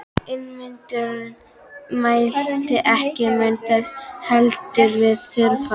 Ingimundur mælti: Ekki mun þess heldur við þurfa.